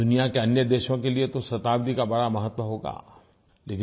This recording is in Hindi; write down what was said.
दुनिया के अन्य देशों के लिये तो शताब्दी का बड़ा महत्व होगा